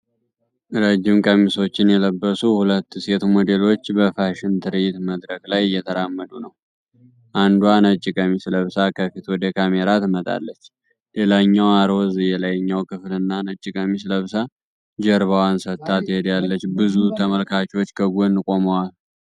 ረጅም ቀሚሶችን የለበሱ ሁለት ሴት ሞዴሎች በፋሽን ትርኢት መድረክ ላይ እየተራመዱ ነው። አንዷ ነጭ ቀሚስ ለብሳ ከፊት ወደ ካሜራ ትመጣለች። ሌላኛዋ ሮዝ የላይኛው ክፍልና ነጭ ቀሚስ ለብሳ ጀርባዋን ሰጥታ ትሄዳለች። ብዙ ተመልካቾች ከጎን ቆመዋል።